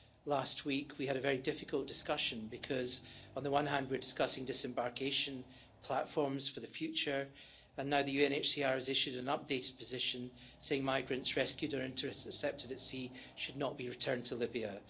Last week we had a very difficult discussion, because on the one hand, we're discussing disembarkation platforms for the future, and now the UNHCR has issued an updated position saying migrants rescued or intercepted at sea should not be returned to Libya.